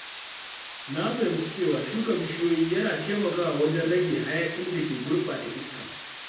Na fahimci cewa shuka bishiyoyi yana taimakawa wajen rage hayaƙin da ke gurɓata iska.